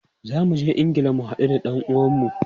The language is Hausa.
Za mu je Ingila mu hadu da dan uwanmu.